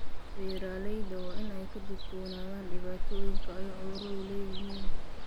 Beeralayda waa in ay ka digtoonaadaan dhibaatooyinka ay cuduradu leeyihiin.